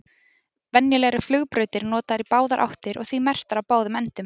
Venjulega eru flugbrautir notaðar í báðar áttir og því merktar á báðum endum.